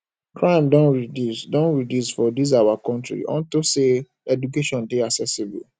crime don reduce don reduce for dis our country unto say education dey accessible